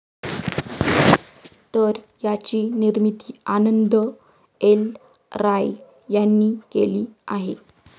तर याची निर्मिती आनंद एल राय यांनी केली आहे.